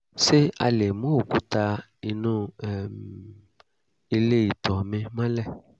ṣé a lè mú òkúta inú um ilé ìtọ̀ mi mọ́lẹ̀?